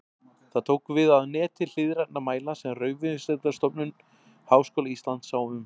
Það tók við af neti hliðrænna mæla sem Raunvísindastofnun Háskóla Íslands sá um.